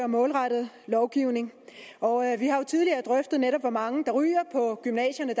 målrettet lovgivning og vi har jo tidligere drøftet hvor mange der dagligt ryger på gymnasierne